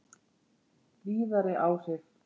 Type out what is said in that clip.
Víðari áhrif